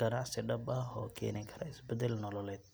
ganacsi dhab ah oo keeni kara isbeddel nololeed.